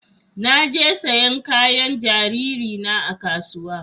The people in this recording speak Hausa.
Na je sayan kayan jariri na a kasuwa